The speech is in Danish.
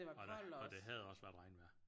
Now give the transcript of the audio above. Og det og det havde også været regnvejr